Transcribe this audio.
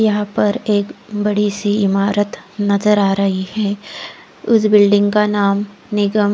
यहा पर एक बड़ी सी इमारत नजर आ रही है उस बिल्डिंग का नाम निगम--